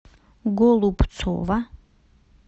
голубцова